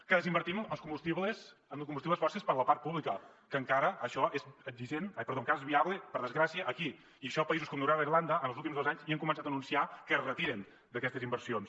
que desinvertim en combustibles fòssils per a la part pública que encara això és viable per desgràcia aquí i això en països com noruega i irlanda en els últims dos anys ja han començat a anunciar que es retiren d’aquestes inversions